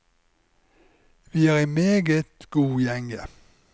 Vi er i meget god gjenge.